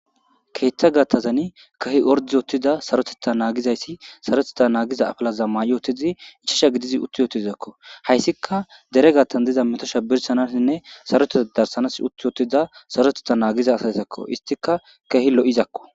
Ketha gidozan keehippe ord utida sarotetha nangizayt sarotetha nagiza apalaza may utida 5 gidid uti itizako. Haysika dere gathan diza metoza birshanasinne sarotetha darsanas uti utida sarotetha nagiza asatakko .istika keeh lo'zako.